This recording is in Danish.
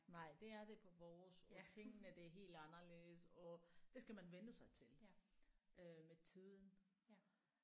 Nej det er det på vores og tingene det er helt anderledes og det skal man vænne sig til øh med tiden